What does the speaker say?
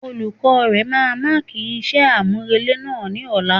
Olukọ̀ọ́ rẹ̀ máa máàkì iṣẹ́ àmúrelé náà ni ọ̀la.